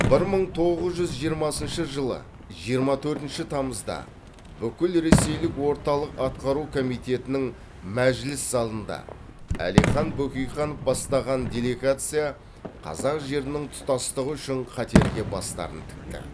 бір мың тоғыз жүз жиырмасыншы жылы жиырма төртінші тамызда бүкілресейлік орталық атқару комитетінің мәжіліс залында әлихан бөкейханов бастаған делегация қазақ жерінің тұтастығы үшін қатерге бастарын тікті